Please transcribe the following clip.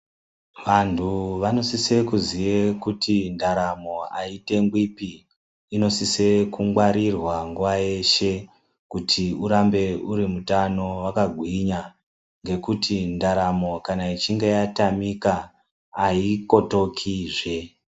Vanthu vanosise kuziya kuti ndaeamo aitenwipi inosisa kungwarirwa nguwa yeshe kuti urambe uri mutano wakagwinya ngekuti ndaramo kana ichinge yatamika aikotokizve.